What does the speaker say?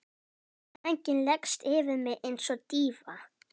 Sængin leggst yfir mig einsog dýfa.